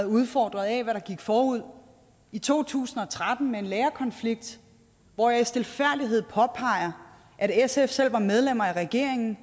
udfordret af hvad der gik forud i to tusind og tretten med en lærerkonflikt hvor jeg i stilfærdighed påpeger at sf selv var medlem af regeringen